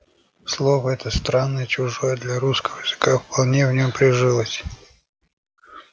слово это странное и чужое для русского языка вполне в нём прижилось